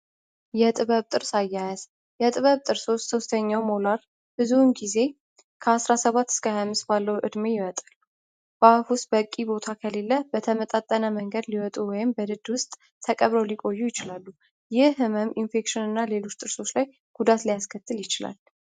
የጥበብ ጥርስ አያያዝ የጥበብ ጥርሶች ሦስተኛው ሞላር ብዙውን ጊዜ ከአራ7ባት እስከ ሐምስ ባለው ዕድሜ ይወጣሉ። ባህፍ ውስጥ በእቂ ቦታ ከሌለ በተመጣጠነ መንገድ ሊወጡ ወይም በድድ ውስጥ ተቀብረው ሊቆዩ ይችላሉ። ይህ ሕመም ኢንፌክሽን እና ሌሎች ጥርሶች ላይ ጉዳት ሊያስከትል ይችላል።